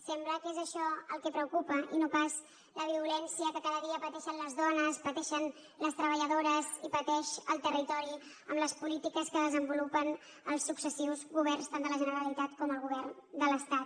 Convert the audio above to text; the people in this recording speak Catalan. sembla que és això el que preocupa i no pas la violència que cada dia pateixen les dones pateixen les treballadores i pateix el territori amb les polítiques que desenvolupen els successius governs tant de la generalitat com el govern de l’estat